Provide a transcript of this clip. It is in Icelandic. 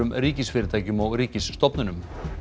ríkisfyrirtækja og ríkisstofnana